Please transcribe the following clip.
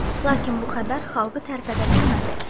Lakin bu xəbər xalqı tərpədə bilmədi.